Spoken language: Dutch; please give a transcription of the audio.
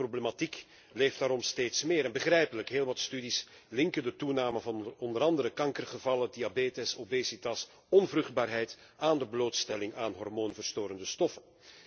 De problematiek leeft daarom steeds meer, en begrijpelijk heel wat studies linken de toename van onder andere kankergevallen, diabetes, obesitas en onvruchtbaarheid aan de blootstelling aan hormoonverstorende stoffen.